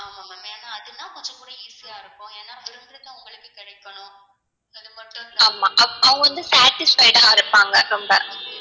ஆமா அவங்க வந்து satisfied ஆ இருப்பாங்க, ரொம்ப